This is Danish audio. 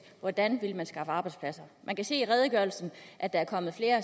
hvordan vil man skaffe arbejdspladser man kan se i redegørelsen at der er kommet flere